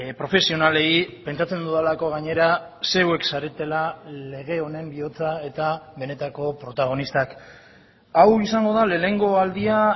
profesionalei pentsatzen dudalako gainera zeuek zaretela lege honen bihotza eta benetako protagonistak hau izango da lehenengo aldia